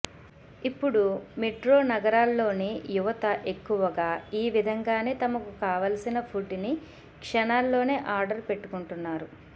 ఇప్పుడు మెట్రో నగరాల్లోని యువత ఎక్కువగా ఈ విధంగానే తమకు కావలసిన ఫుడ్ ని క్షణాల్లోనే ఆర్డర్ పెట్టుకుంటున్నారు